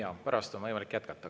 Jaa, pärast on võimalik jätkata.